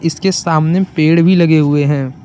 इसके सामने पेड़ भी लगे हुए हैं।